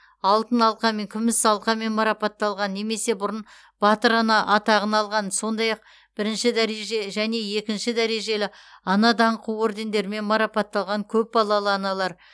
алтын алқамен күміс алқамен марапатталған немесе бұрын батыр ана атағын алған сондай ақ бірінші дәреже және екінші дәрежелі ана даңқы ордендерімен марапатталған көпбалалы аналар